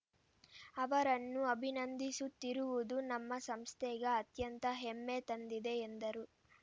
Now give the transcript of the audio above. ಅವರನ್ನು ಅಭಿನಂದಿಸುತ್ತಿರುವುದು ನಮ್ಮ ಸಂಸ್ಥೆಗೆ ಅತ್ಯಂತ ಹೆಮ್ಮೆ ತಂದಿದೆ ಎಂದರು